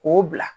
K'o bila